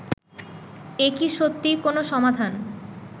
এ কি সত্যিই কোনও সমাধান